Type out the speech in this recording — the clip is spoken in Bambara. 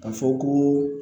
Ka fɔ ko